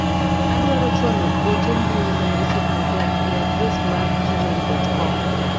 Adwaro chwalo ote mbui ne osiepna Jack e adres mar gmai.com,